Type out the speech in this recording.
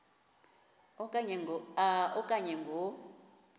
a okanye ngo